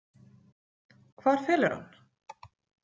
Hvar felurðu hann?